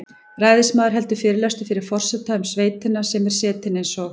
Ræðismaður heldur fyrirlestur fyrir forseta um sveitina sem er setin eins og